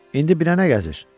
İndi binə nə gəzir?